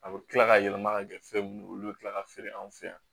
A bɛ kila ka yɛlɛma ka kɛ fɛn min ye olu bɛ kila ka feere anw fɛ yan